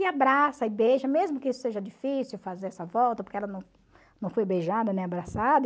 E abraça e beija, mesmo que seja difícil fazer essa volta, porque ela não não foi beijada nem abraçada.